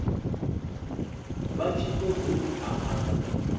vha tshi ṱoḓou amba nga